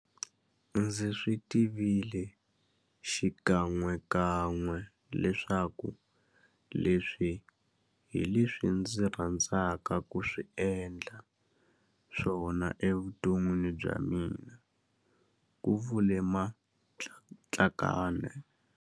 Ndzi swi tivile xi kan'wekan'we leswaku leswi hi leswi ndzi rhandzaka ku endla swona evuton'wini bya mina, ku vule Matlakane.